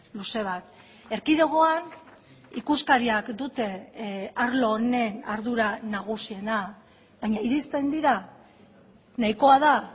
luze bat erkidegoan ikuskariak dute arlo honen ardura nagusiena baina iristen dira nahikoa da